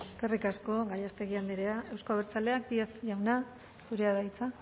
eskerrik asko gallástegui andrea euzko abertzaleak díez jauna zurea da hitza